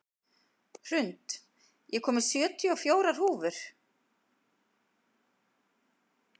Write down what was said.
Hrund, ég kom með sjötíu og fjórar húfur!